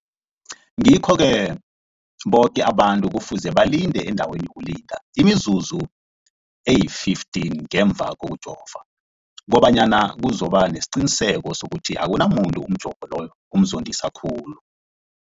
Ngikho-ke boke abantu kufuze balinde endaweni yokulinda imizuzu eli-15 ngemva kokujova, koba nyana kuzokuba nesiqiniseko sokuthi akunamuntu umjovo loyo omzondisa khulu.